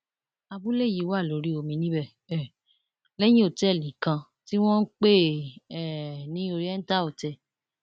abúlé yìí wà lórí omi níbẹ um lẹyìn òtẹẹlì kan tí wọn ń pè um ní oriental hotel